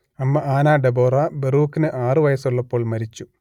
അമ്മ Anna Deborah ബറൂക്കിന് ആറുവയസ്സുള്ളപ്പോൾ മരിച്ചു